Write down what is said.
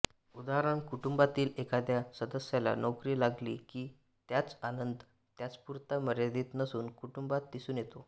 उदाः कुटुंबातील एखादया सदस्याला नोकरी लागली कि त्याचा आनंद त्याच्यापुरता मर्यादित नसून कुटुंबात दिसून येतो